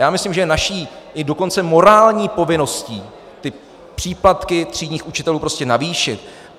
Já myslím, že je naší i dokonce morální povinností ty příplatky třídních učitelů prostě navýšit.